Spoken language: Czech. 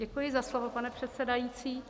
Děkuji za slovo, pane předsedající.